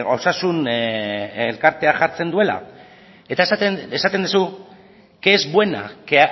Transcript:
osasun elkarteak jartzen duela eta esaten duzu que es buena que